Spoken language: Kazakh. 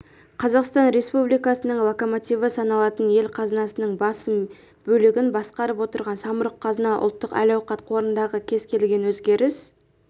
қазақстан экономикасының локомотиві саналатын ел қазынасының басым бөлігін басқарып отырған самұрық-қазына ұлттық әл-ауқат қорындағы кез келген өзгеріс